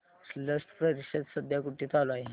स्लश परिषद सध्या कुठे चालू आहे